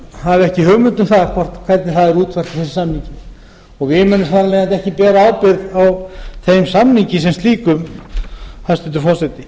hafi ekki hugmynd um hvernig það hafi verið útfært þar og við munum þar af leiðandi ekki bera ábyrgð á samningnum hæstvirtur forseti